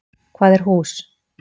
Hvað er hús?